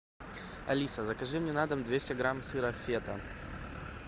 алиса закажи мне на дом двести грамм сыра фета